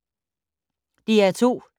DR2